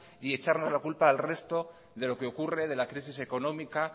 y echarnos la culpa al resto de lo que ocurre de la crisis económica